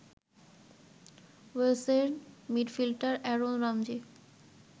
ওয়েলসের midfielder Aaron Ramji